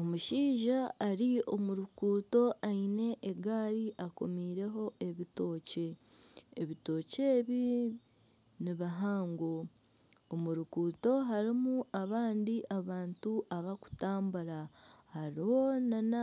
Omushaija ari omu ruguuto aine egaari akomireho ebitookye, ebitookye ebi nibihango omu ruguuto harimu abandi abantu abakutambura hariho nana